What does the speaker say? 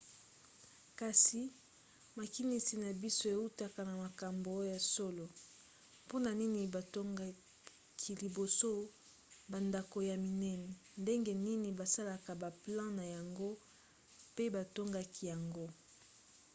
kasi makinisi na biso eutaka na makambo ya solo? mpona nini batongaki liboso bandako ya minene? ndenge nini basalaka baplan na yango pe batongaki yango?